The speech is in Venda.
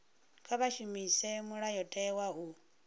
kha vha shumise mulayotewa u